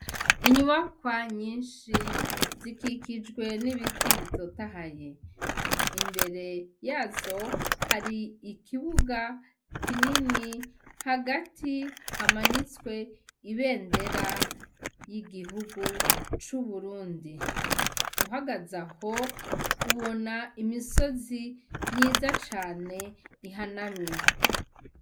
Inyubakwa nyinshi, zikikijwe n'ibiti bitotahaye. Imbere yazo hari ikibuga kinini. Hagati hamanitswe ibendera ry'igihugu c'uburundi. Uhagaze aho, ubona imisozi myiza cane ihanamye.